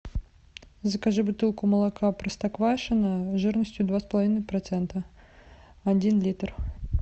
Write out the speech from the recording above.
закажи бутылку молока простоквашино жирностью два с половиной процента один литр